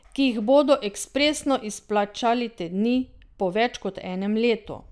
Ki jih bodo ekspresno izplačali te dni, po več kot enem letu!